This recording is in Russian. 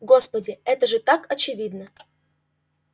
господи это же так очевидно